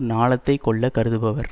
ஞாலத்தைக் கொள்ள கருதுபவர்